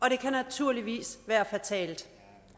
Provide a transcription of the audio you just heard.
og det kan naturligvis være fatalt